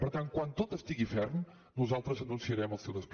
per tant quan tot estigui ferm nosaltres anunciarem el seu desplegament